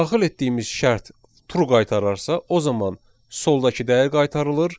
Daxil etdiyimiz şərt true qaytararsa, o zaman soldakı dəyər qaytarılır.